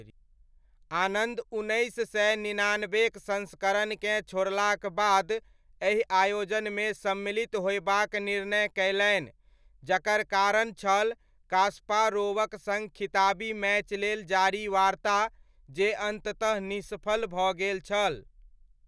आनन्द उन्नैस सय निनानबेक संस्करणकेँ छोड़लाक बाद एहि आयोजनमे सम्मिलित होयबाक निर्मय कयलनि, जाकर कारण छल कास्पारोवक सङ्ग खिताबी मैच लेल जारी वार्ता जे अन्ततः निष्फल भऽ गेल छल।